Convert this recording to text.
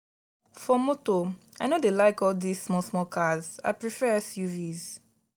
for motor i no dey like all this small small cars i prefer suvs.